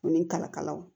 U ni kalakalaw